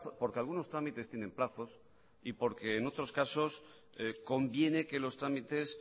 porque algunos trámites tienen plazos y porque en otros casos conviene que los trámites